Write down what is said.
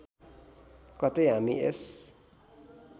कतै हामी यस